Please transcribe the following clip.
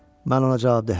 Mən ona cavabdehəm.